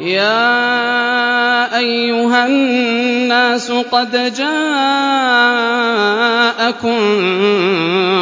يَا أَيُّهَا النَّاسُ قَدْ جَاءَكُم